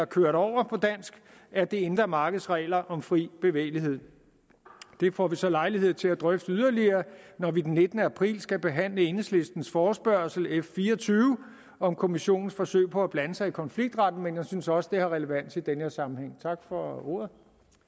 kørt over af det indre markeds regler om fri bevægelighed det får vi så lejlighed til at drøfte yderligere når vi den nittende april skal behandle enhedslistens forespørgsel f fire og tyve om kommissionens forsøg på at blande sig i konfliktretten men jeg synes også at det har relevans i den her sammenhæng tak for ordet